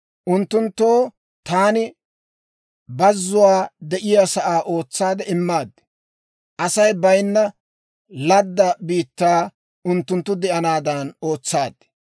Unttunttoo taani bazzuwaa de'iyaasaa ootsaade immaad; Asay baynna ladda biittaa unttunttu de'anaadan ootsaad.